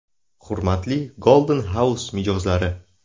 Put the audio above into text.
Hurmatli Golden House mijozlari!